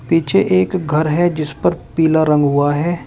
पीछे एक घर है जिस पर पीला रंग हुआ है।